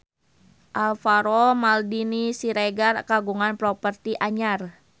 Alvaro Maldini Siregar kagungan properti anyar